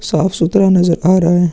साफ सुधरा नजर आ रहा है।